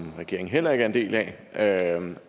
regeringen heller ikke er en